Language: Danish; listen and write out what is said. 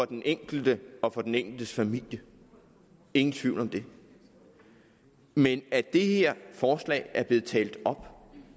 den enkelte og den enkeltes familie ingen tvivl om det men at det her forslag er blevet talt op